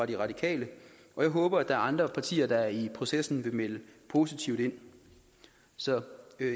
de radikale og jeg håber at der er andre partier der i processen vil melde positivt ind så